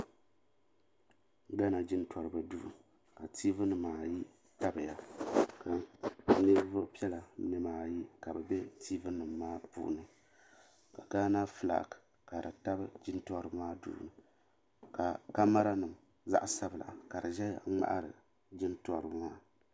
Gana jintoriba duu ka tiivi nima ayi tabiya ka ninvuɣu piɛla ayi ka bɛ be tiivi nima maa puuni ka gana filaaki ka di tabi jintoriba maa duu ka kamara nima zaɣa sabla ka di ʒɛya n ŋmahiri jintoriba maa.